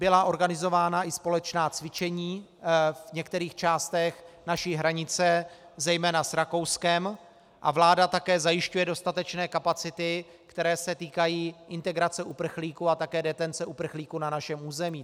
Byla organizována i společná cvičení v některých částech naší hranice, zejména s Rakouskem, a vláda také zajišťuje dostatečné kapacity, které se týkají integrace uprchlíků a také detence uprchlíků na našem území.